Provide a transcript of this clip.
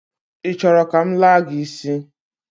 I choro ka m laa gi isi?